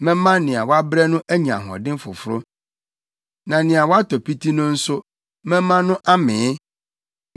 Mɛma nea wabrɛ no anya ahoɔden foforo, na nea watɔ piti no nso mɛma no amee.”